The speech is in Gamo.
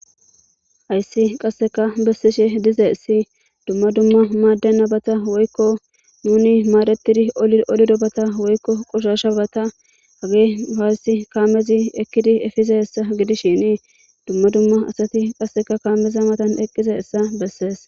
Hayssi qasseka bessishe diza issi dumma dumma maadde nabata woykko nuni maaretidi olido bata woykko qoshasha bata hage ufayssi kaamezi ekkidi efiza hessa gidishini dumma dumma asati qasseka kaameza matan eqqize hessa bessees.